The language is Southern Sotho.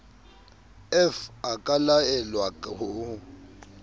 f a ka laelwa ho